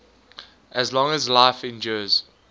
as long as life endures